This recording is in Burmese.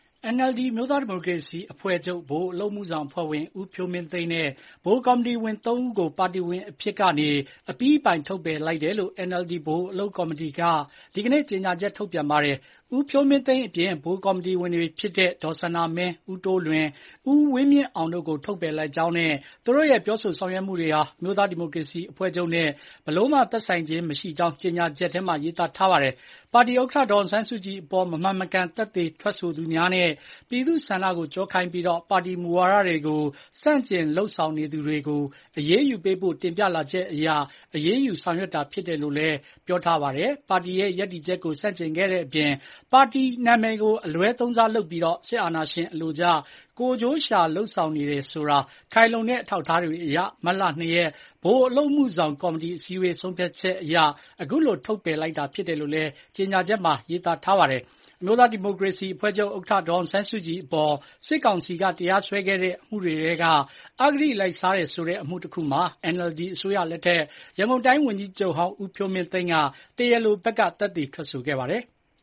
NLD အမျိုးသားဒီမိုကရေစီအဖွဲ့ချုပ် ဗဟိုအလုပ်အမှုဆောင်အဖွဲ့ဝင် ဦးဖြိုးမင်းသိန်းနဲ့ ဗဟိုကော်မတီဝင် ၃ ဦးကို ပါတီဝင်အဖြစ်မှပါ အပြီးအပိုင် ထုတ်ပယ်လိုက်တယ်လို့ NLD ဗဟိုအလုပ်ကော်မတီက ဒီနေ့ကြေညာချက်ထုတ်ပြန်ပါတယ်။ ဦးဖြိုးမင်းသိန်းအပြင် ဗဟိုကော်မတီဝင်တွေဖြစ်ကြတဲ့ ဒေါ်စန္ဒာမင်း၊ ဦးတိုးလွင်၊ ဦးဝင်းမြင့်အောင်တု့ိကို ထုတ်ပယ်လိုက်ကြောင်းနဲ့ သူတို့ရဲ့ ပြောဆိုဆောင်ရွက်မှုတွေဟာ အမျိုးသားဒီမိုကရေစီအဖွဲ့ချုပ်နဲ့ မည်သို့မျှ သက်ဆိုင်ခြင်းမရှိပါကြောင်း ကြေညာချက်ထဲမှာ ရေးထားပါတယ်။ ပါတီဥက္ကဋ္ဌ ဒေါ်အောင်ဆန်းစုကြည်အပေါ် မမှန်မကန် သက်သေထွက်ဆိုသူများနဲ့ ပြည်သူ့ဆန္ဒကိုကျောခိုင်းပြီး ပါတီမူဝါဒတွေကို ဆန့်ကျင် လုပ်ဆောင်နေသူတွေကို အရေးယူပေးဖို့ တင်ပြလာချက်အရ အရေးယူဆောင်ရွက်တာဖြစ်တယ်လို့လည်း ပြောထားပါတယ်။ ပါတီရဲ့ရပ်တည်ချက်ကို ဆန့်ကျင်ခဲ့တဲ့အပြင်၊ ပါတီနာမည်ကို အလွဲသုံးစားလုပ်ပြီး စစ်အာဏာရှင်အလိုကျ ကိုယ်ကျိုးရှာလုပ်ဆောင်နေတယ်ဆိုတာ ခိုင်လုံတဲ့ အထောက်အထားတွေအရ မတ်လ ၂ ရက် ဗဟိုအလုပ်ကော်မတီအစည်းအဝေး ဆုံးဖြတ်ချက်အရ ခုလိုထုတ်ပယ်တာဖြစ်တယ်လို့လည်း ထုတ်ပြန်ချက်မှာ ရေးထားပါတယ်။ အမျိုးသားဒီမိုကရေစီအဖွဲ့ချုပ်ဥက္ကဋ္ဌ ဒေါ်အောင်ဆန်းစုကြည်အပေါ် စစ်ကောင်စီက တရားစွဲခဲ့တဲ့ အမှုတွေထဲက အဂတိလိုက်စားတယ်ဆိုတဲ့ အမှုတခုမှာ NLD အစိုးရလက်ထက် ရန်ကုန်တိုင်းဝန်ကြီးချုပ်ဟောင်း ဦးဖြိုးမင်းသိန်းက တရားလိုဘက်က သက်သေထွက်ဆိုခဲ့ပါတယ်။